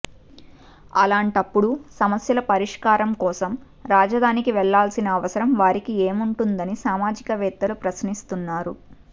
అలాంటప్పుడు సమస్యల పరిష్కారం కోసం రాజధానికి వెళ్లాల్సిన అవసరం వారికి ఏముంటుందని సామాజికవేత్తలు ప్రశ్నిస్తున్నారు